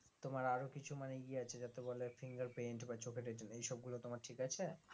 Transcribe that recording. তোমার আরো কিছু মানে ইয়ে আছে যাতে বলে fingerprint বা চোখের রেটিনা এইসব গুলো ঠিক আছে